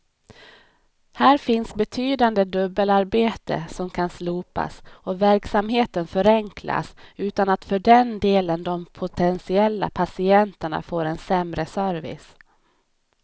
Här finns betydande dubbelarbete som kan slopas och verksamheten förenklas utan att för den delen de potentiella patienterna får en sämre service.